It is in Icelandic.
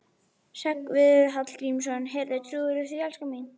Hreggviður Hallgrímsson: Heyrðu, trúirðu því, elskan mín?